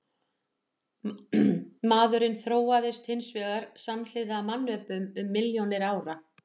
Maðurinn þróaðist hins vegar samhliða mannöpum um milljónir ára.